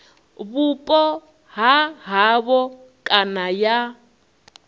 vhupo ha havho kana ya